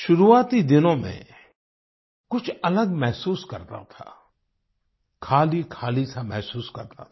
शुरुआती दिनों में कुछ अलग महसूस करता था खालीखाली सा महसूस करता था